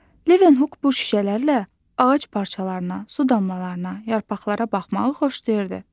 Levenhuk bu şüşələrlə ağac parçalarına, su damlalarına, yarpaqlara baxmağı xoşlayırdı.